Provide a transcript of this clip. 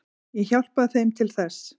Ég hjálpaði þeim til þess.